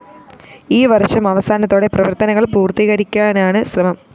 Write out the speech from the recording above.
ഈ വര്‍ഷം അവസാനത്തോടെ പ്രവര്‍ത്തനങ്ങള്‍ പൂര്‍ത്തിക്കരിക്കാനാണ് ശ്രമം